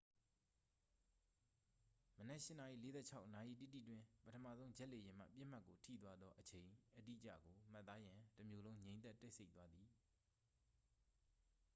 မနက် 8:46 နာရီတိတိတွင် ပထမဆုံးဂျက်လေယာဉ်မှ ပစ်မှတ်ကို ထိသွားသော အချိန်အတိကျကို မှတ်သားရန် တမြို့လုံး ငြိမ်သက်တိတ်ဆိတ်သွားသည်